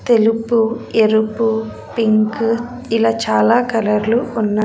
తెలుపు ఎరుపు పింక్ ఇలా చాలా కలర్లు ఉన్న--